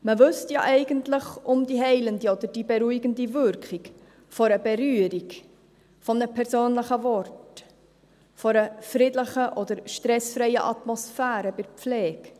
Man wüsste ja eigentlich um die heilende oder beruhigende Wirkung einer Berührung, eines persönlichen Wortes, einer friedlichen oder stressfreien Atmosphäre bei der Pflege.